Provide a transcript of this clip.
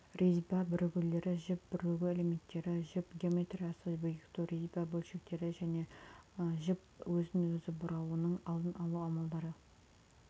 резьба бірігулері жіп бірігу элементтері жіп геометриясы бекіту резьба бөлшектері жіп өзін-өзі бұрауының алдын алу амалдары